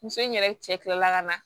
Muso in yɛrɛ cɛ kilala ka na